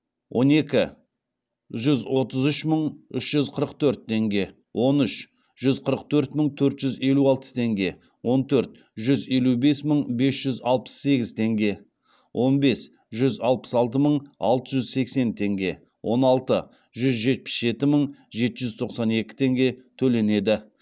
он екі жүз отыз үш мың үш жүз қырық төрт теңге он үш жүз қырық төрт мың төрт жүз елу алты теңге он төрт жүз елу бес мың бес жүз алпыс сегіз теңге он бес жүз алпыс алты мың алты жүз сексен теңге он алты жүз жетпіс жеті мың жеті жүз тоқсан екі теңге төленеді